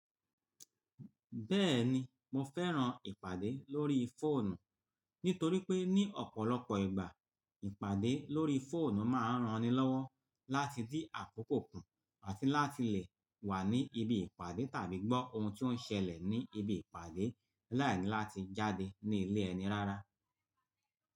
Béèni mo féràn ìpàdé lórí fóònù, nítorí pé ní opolopo ìgbà, ìpàdé lórí fóònù máa ń ràn ni lówó láti dín àkókò kú áti láti lè wá ní ibi ìpàdé tàbí gbo òhùn tí ó ń sele ní ibi ipade láì ní láti jáde ní ilé ènì rárá.